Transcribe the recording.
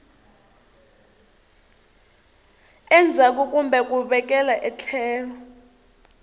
endzhaku kumbe ku vekela etlhelo